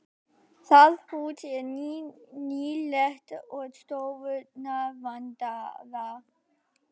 Það hús er nýlegt og stofurnar vandaðar.